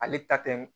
Ale ta tɛ